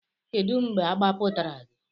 Kedu mgbe agbapụtara gị?